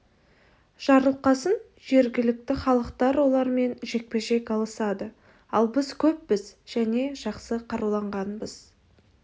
жарылқасын жергілікті халықтар олармен жекпе-жек алысады ал біз көппіз және жақсы қаруланғанбыз